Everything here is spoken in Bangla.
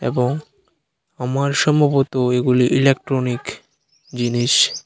এবং আমার সম্ভবত এগুলি ইলেকট্রনিক জিনিস।